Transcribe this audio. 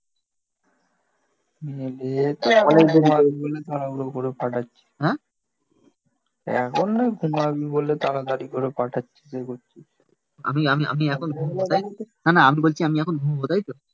তাড়াহুড়ো করে ফাটাচ্ছি. হ্যাঁ এখন নয় ঘুমাবি বলে তাড়াতাড়ি করে পাঠাচ্ছিস এ করছিস আমি আমি আমি এখন ঘুম কোথায়? না না আমি বলছি আমি এখন ঘুমাবো তাইতো?